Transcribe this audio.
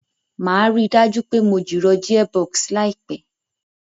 Màá ríi dájú pé mo jìrọ̀ gearbox láìpẹ̀